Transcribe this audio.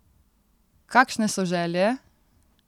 Kakšne so želje?